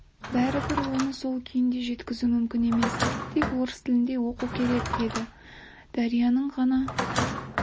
бәрібір оны сол күйінде жеткізу мүмкін емес тек орыс тілінде оқу керек ол енді дарияның ғана